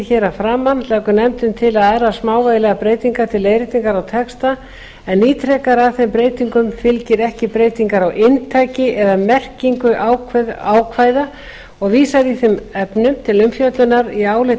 hér að framan leggur nefndin til aðrar smávægilegar breytingar til leiðréttingar á texta en ítrekar að þeim breytingum fylgir ekki breyting á inntaki eða merkingu ákvæða og vísar í þeim efnum til umfjöllunar í áliti